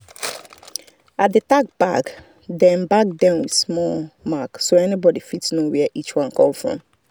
i dey tag bag them bag them with small mark so anybody fit know where each one come from.